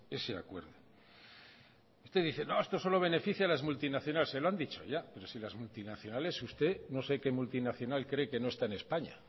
ese acuerdo usted dice no esto solo beneficia a las multinacionales se lo han dicho ya pero si las multinacionales usted no sé que multinacional cree que no está en españa